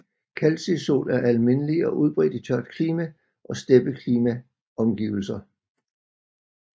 Calcisol er almindelig og udbredt i tørt klima og steppeklima omgivelser